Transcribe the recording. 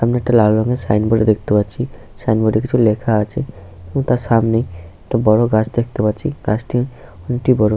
সামনে একটা লাল রঙের সাইন বোর্ড দেখতে পাচ্ছি সাইন বোর্ডে কিছু লেখা আছে এবং তার সামনেই একটা গাছ দেখতে পাচ্ছি গাছটি অনেকটি বড়।